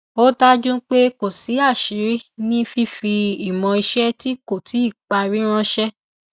ó dájú pé kò sí aṣíiri ní fífi ìmọ iṣẹ tí kò tíì parí ránṣẹ